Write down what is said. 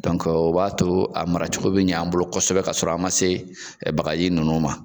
o b'a to a mara cogo bɛ ɲ'an bolo kosɛbɛ ka sɔrɔ an man se bagaji ninnu ma.